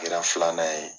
Kɛra filanan ye